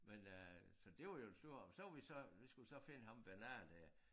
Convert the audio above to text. Men øh så det var jo en stor op men så var vi så vi skulle så finde ham Bernard der